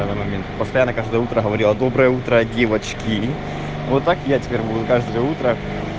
самый момент постоянно каждое утро говорила доброе утро девочки вот так я теперь буду каждое утро